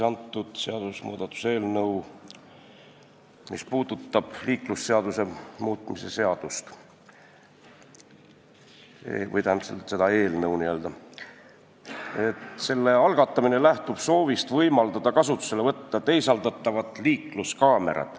Antud eelnõu, mis puudutab liiklusseaduse muutmist, algatamine lähtub soovist võimaldada kasutusele võtta teisaldatavad liikluskaamerad.